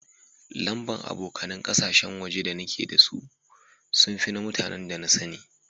Lamba'n abokanen kasashen waje da nike da si sun fi na mutanen da na sanni.